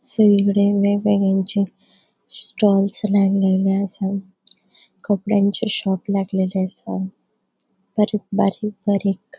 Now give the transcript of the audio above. स्टॉल्स लाएलेले असा कपड्यांचे शॉप्स लागलेले असा परत बारीक बारीक --